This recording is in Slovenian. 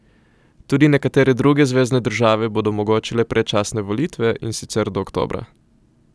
Tudi nekatere druge zvezne države bodo omogočile predčasne volitve, in sicer od oktobra.